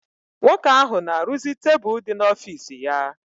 Nwoke ahụ na-arụzi tebụl dị n'ọfiisi ya.